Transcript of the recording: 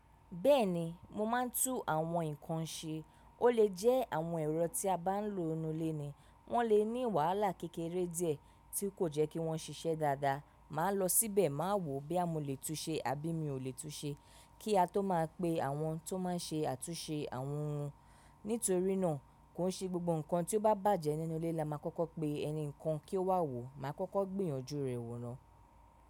Bẹ́ẹ̀ni, mo máa ń tú àwọn nǹkan ṣe. Ó lè jẹ́ àwọn ẹ̀rọ tí a bá ń lò nínú ilé ni wọ́n lè ní wàhálà kékeré díẹ̀ tí kò jẹ́ kí wọ́n ṣiṣẹ́ dáadáa. Màá lọ síbẹ̀, màá wò o boya mo lè tun ṣe àbí mi ò lè tun ṣe, kí a tó máa pe àwọn tó máa ń ṣe àtúnṣe àwọn ohun. Nítorí náà, kò n ṣe gbogbo nǹkan tí ó bá bàjẹ́ nínú ilé la máa kọ́kọ́ pe ẹni kan kí ó wá wò o, màá kọ́kọ́ gbìyànjú rẹ̀ wò ná.